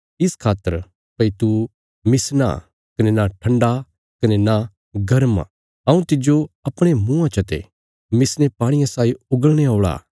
इस खातर भई तू मिसना कने नां ठण्डा कने नां गर्म हऊँ तिज्जो अपणे मुँआं चते मिसने पाणिये साई उगलणे औल़ा